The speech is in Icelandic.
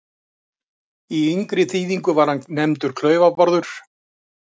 Í yngri þýðingu var hann nefndur Klaufa-Bárður.